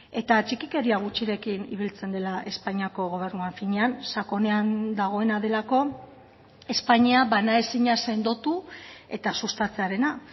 eta txikikeria gutxirekin ibiltzen dela espainiako gobernua finean sakonean dagoena delako espainia banaezina sendotu eta sustatzearena